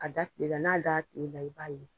A da kile la, n'a dara kile la, i b'a ye.